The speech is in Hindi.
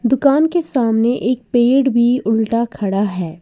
दुकान के सामने एक पेड़ भी उल्टा खड़ा है।